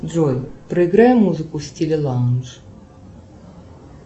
джой проиграй музыку в стиле лаундж